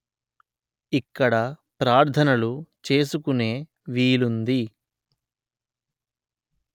ఇక్కడ ప్రార్థనలు చేసుకొనే వీలుంది